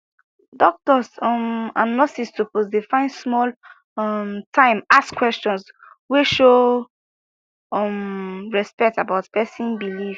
doctors um and nurses suppose dey find small um time ask questions wey show um respect about person belief